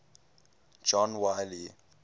john wiley